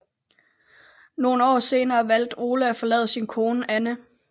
Nogle år senere valgte Ole at forlade sin kone Anna